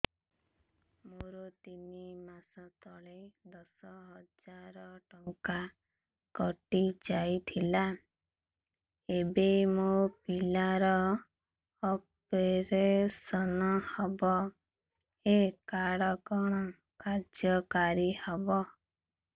ମୋର ତିନି ମାସ ତଳେ ଦଶ ହଜାର ଟଙ୍କା କଟି ଯାଇଥିଲା ଏବେ ମୋ ପିଲା ର ଅପେରସନ ହବ ଏ କାର୍ଡ କଣ କାର୍ଯ୍ୟ କାରି ହବ